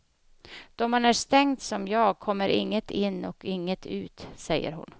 Då man är stängd som jag kommer inget in och inget ut, säger hon.